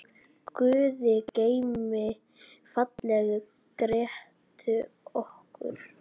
Guði geymi fallegu Grétu okkar.